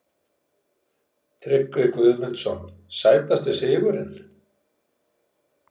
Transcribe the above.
Tryggvi Guðmundsson Sætasti sigurinn?